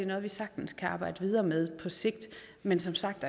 noget vi sagtens kan arbejde videre med sigt men som sagt